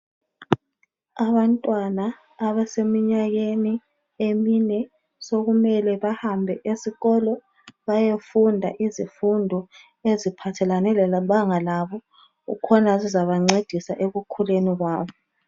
Abantwana abaseminyakeni emine sokumele bahambe esikolo bayefunda izifundo eziphathelane lebanga labo kukhona zizabancedisa ekukhuleni kwabo .